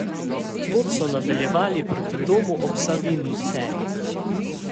Pot so nadaljevali proti Domu ob Savinji Celje.